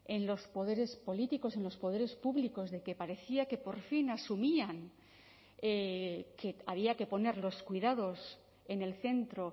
en los poderes políticos en los poderes públicos de que parecía que por fin asumían que había que poner los cuidados en el centro